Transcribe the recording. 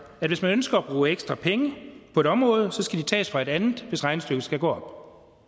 at hvis man ønsker at bruge ekstra penge på et område så skal de tages fra et andet hvis regnestykket skal gå